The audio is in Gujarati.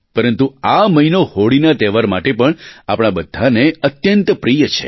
પરંતુ આ મહિનો હોળીના તહેવાર માટે પણ આપણા બધાંને અત્યંત પ્રિય છે